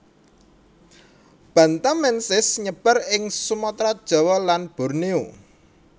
bantamensis nyebar ing Sumatra Jawa lan Borneo